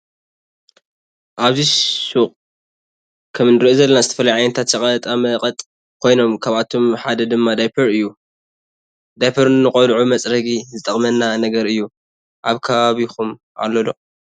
አብዚ ሽቅ ከም እንሪኦ ዘለና ዝተፈላለዩ ዓይነታት ሽቀጣ መቀጥ ኮይኖም ካብአቶም ሓደ ድማ ዳይፐር እዩ። ዳይፐ ንቆልዑ መፅረጊይ ዝጠቅመና ነገር እዩ። አብ ከባቢኩም አሎ ዶ?